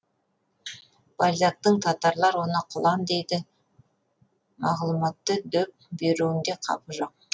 бальзактың татарлар оны құлан дейді мағлұматты дөп беруінде қапы жоқ